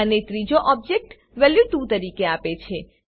અને ત્રીજો object value 2 તરીકે આપે છે